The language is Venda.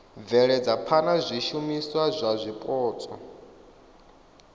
bveledza phana zwishumiswa zwa zwipotso